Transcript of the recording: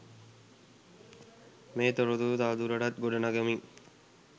මේ තොරතුරු තවදුරටත් ගොඩ නගමින්.